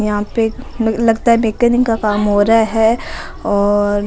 यहाँ पे लगता है मेकेनिक का काम हो रहा है और --